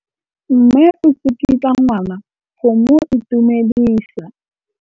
Mme o tsikitla ngwana go mo itumedisa.